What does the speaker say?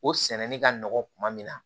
O sɛnɛni ka nɔgɔn kuma min na